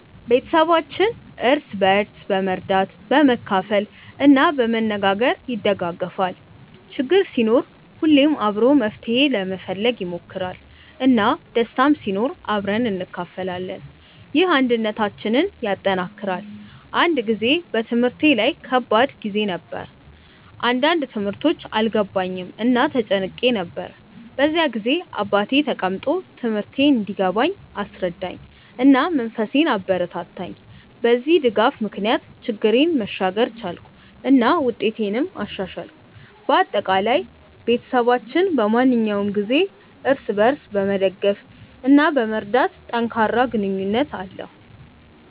ቤተሰባችን እርስ በርስ በመርዳት፣ በመካፈል እና በመነጋገር ይደጋገፋል። ችግር ሲኖር ሁሉም አብሮ መፍትሄ ለመፈለግ ይሞክራል፣ እና ደስታም ሲኖር አብረን እንካፈላለን። ይህ አንድነታችንን ያጠናክራል። አንድ ጊዜ በትምህርቴ ላይ ከባድ ጊዜ ነበር፣ አንዳንድ ትምህርቶች አልገባኝም እና ተጨንቄ ነበር። በዚያ ጊዜ አባቴ ተቀምጦ ትምህርቴን እንዲገባኝ አስረዳኝ፣ እና መንፈሴን አበረታታኝ። በዚህ ድጋፍ ምክንያት ችግሬን መሻገር ቻልኩ እና ውጤቴንም አሻሻልኩ። በአጠቃላይ፣ ቤተሰባችን በማንኛውም ጊዜ እርስ በርስ በመደገፍ እና በመርዳት ጠንካራ ግንኙነት አለው።